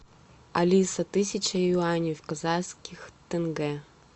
алиса тысяча юаней в казахских тенге